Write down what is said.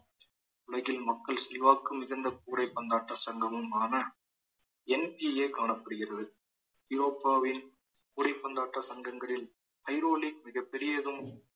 உலகில் மக்கள் செல்வாக்கு மிகுந்த கூடை பந்தாட்ட சங்கமுமான NTA காணப்படுகிறது ஐரோப்பாவின் கூடைப்பந்தாட்ட சங்கங்களின் ஐரோலிக் மிகப்பெரியதும்